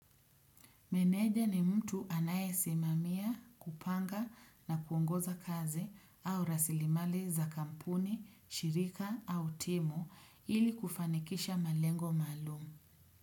Meneja ni mtu anaye simamia, kupanga na kuongoza kazi au rasilimali za kampuni, shirika au timu ili kufanikisha malengo maalumu.